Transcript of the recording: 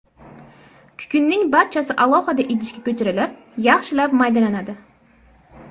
Kukunning barchasi alohida idishga ko‘chirilib, yaxshilab maydalanadi.